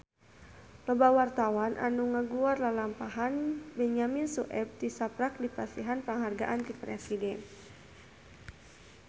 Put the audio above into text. Loba wartawan anu ngaguar lalampahan Benyamin Sueb tisaprak dipasihan panghargaan ti Presiden